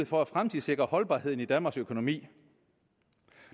for at fremtidssikre holdbarheden i danmarks økonomi